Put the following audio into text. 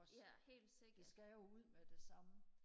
også det skal jo ud med det samme